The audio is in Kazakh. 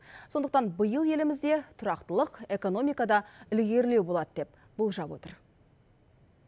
сондықтан биыл елімізде тұрақтылық экономикада ілгерілеу болады деп болжап отыр